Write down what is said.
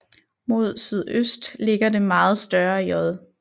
Mod sydøst ligger det meget større J